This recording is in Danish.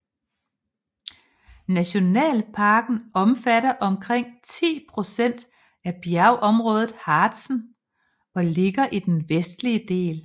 Nationalparken omfatter omkring 10 procent af bjergområdet Harzen og ligger i den vestlige del